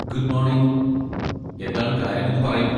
Good morning, എന്താണ് കാര്യമെന്ന് പറയുമോ?